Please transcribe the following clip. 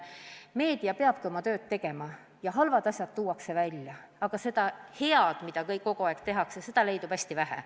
Meedia peabki oma tööd tegema, aga seda head, mida kogu aeg selles valdkonnas tehakse, kajastatakse hästi vähe.